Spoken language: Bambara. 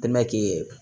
Dɛmɛ k'i